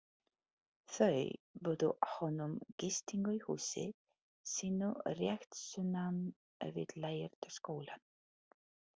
Þau buðu honum gistingu í húsi sínu rétt sunnan við Lærða skólann.